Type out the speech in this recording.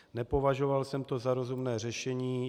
Nepovažoval jsem to za rozumné řešení.